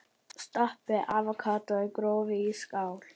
Stappið avókadó gróft í skál.